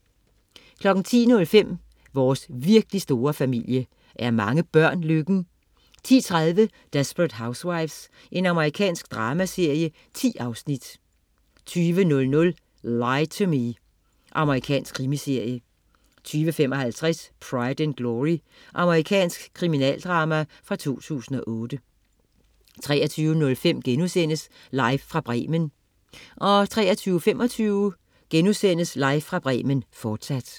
10.05 Vores virkelig store familie. Er mange børn lykken? 10.30 Desperate Housewives. Amerikansk dramaserie. 10 afsnit 20.00 Lie to Me. Amerikansk krimiserie 20.55 Pride and Glory. Amerikansk kriminaldrama fra 2008 23.05 Live fra Bremen* 23.25 Live fra Bremen, fortsat*